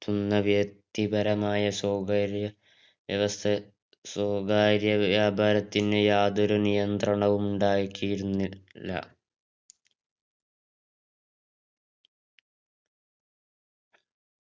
നടത്തുന്ന വ്യക്തിപരമായ വ്യവസ്ഥ സ്വകാര്യ വ്യാപാര യാതൊരു നിയന്ത്രണവും ഉണ്ടായിട്ടിരുന്നില്ല